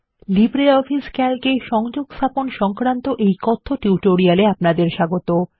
LibreOffice Calc এ সংযোগস্থাপন সংক্রান্ত এই কথ্য টিউটোরিয়াল এ আপনাদের স্বাগত